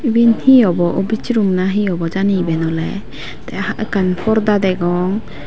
iben he obo office room nahi obo jani eben oley tey ekkan porda degong.